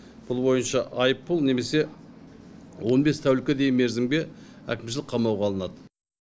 бұл бойынша айыппұл немесе он бес тәулікке дейін мерзімге әкімшілік қамауға алынады